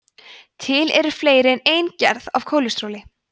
til eru fleiri en ein gerð af kólesteróli